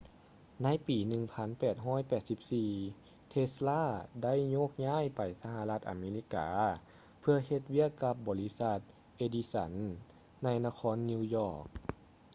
ໃນປີ 1884 ເທສ໌ລາ tesla ໄດ້ໂຍກຍ້າຍໄປສະຫະລັດອາເມລິກາເພື່ອເຮັດວຽກກັບບໍລິສັດ ເອດິສັນ edison ໃນນະຄອນນິວຢອກ